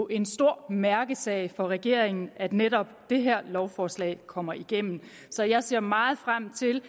en stor mærkesag for regeringen at netop det her lovforslag kommer igennem så jeg ser meget frem til